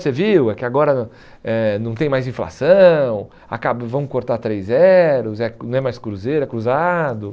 Você viu é que agora eh não tem mais inflação, acaba vão cortar três zeros, não é mais cruzeiro, é cruzado.